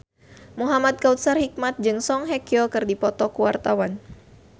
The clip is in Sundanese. Muhamad Kautsar Hikmat jeung Song Hye Kyo keur dipoto ku wartawan